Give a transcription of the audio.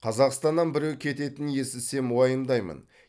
қазақстаннан біреу кететінін естісем уайымдаймын